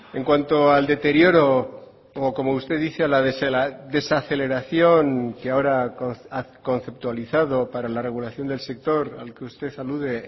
en cuanto al deterioro o como usted dice a la desaceleración que ahora ha conceptualizado para la regulación del sector al que usted alude